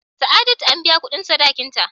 Sa'adatu an biya kudin sadakin ta.